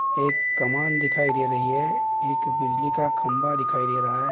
एक कमान दिखाइ दे रही है एक बिजली का खंबा दिखाई दे रहा है।